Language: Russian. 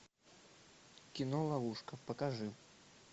кино ловушка покажи